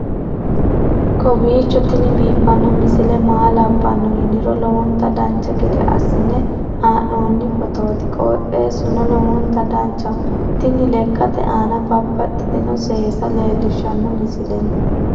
kowiicho tini biiffanno misile maa labbanno yiniro lowonta dancha gede assine haa'noonni foototi qoxeessuno lowonta danachaho. tini lekate aana babaxitinoti seesa leellishshanno misle no